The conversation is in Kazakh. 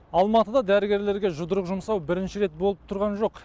алматыда дәрігерлерге жұдырық жұмсау бірінші рет болып тұрған жоқ